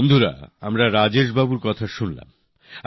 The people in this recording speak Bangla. বন্ধুরা আমরা রাজেশবাবুর কথা শুনলাম